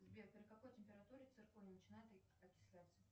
сбер при какой температуре цирконий начинает окисляться